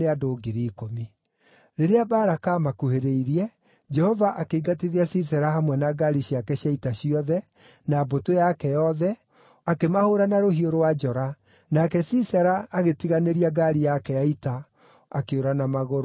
Rĩrĩa Baraka aamakuhĩrĩirie, Jehova akĩingatithia Sisera hamwe na ngaari ciake cia ita ciothe, na mbũtũ yake yothe, akĩmahũũra na rũhiũ rwa njora, nake Sisera agĩtiganĩria ngaari yake ya ita, akĩũra na magũrũ.